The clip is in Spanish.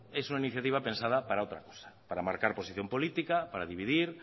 es una iniciativa pensada para otra cosa para marcar posición política para dividir